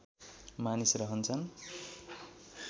मानिस रहन्छन्